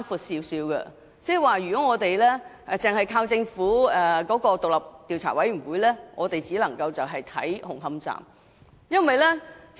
換言之，如果只靠政府的調查委員會，我們只會知道紅磡站的調查結果。